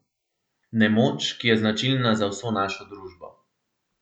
Nemoč, ki je značilna za vso našo družbo.